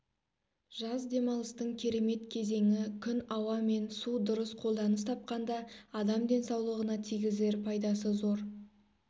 жаз демалыстың керемет кезеңі күн ауа мен су дұрыс қолданыс тапқанда адам денсаулығына тигізер пайдасы зор